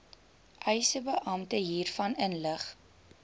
eisebeampte hiervan inlig